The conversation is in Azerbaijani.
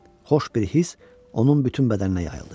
Xoş bir hiss onun bütün bədəninə yayıldı.